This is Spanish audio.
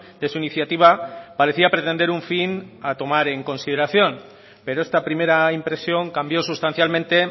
de su iniciativa parecía pretender un fin a tomar en consideración pero esta primera impresión cambio sustancialmente